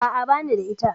A'a, bani da ita.